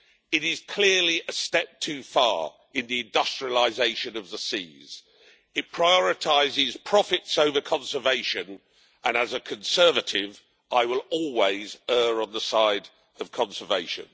It is clearly a step too far in the industrialisation of the seas. It prioritises profits over conservation, and as a Conservative I will always err on the side of conservation.